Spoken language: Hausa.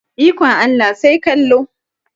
Ikon Allah sai kallo.